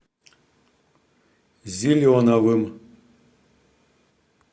зеленовым